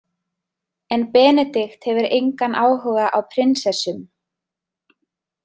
En Benedikt hefur engan áhuga á prinsessum.